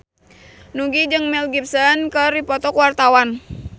Nugie jeung Mel Gibson keur dipoto ku wartawan